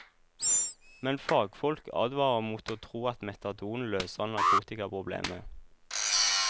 Men fagfolk advarer mot å tro at metadon løser narkotikaproblemet.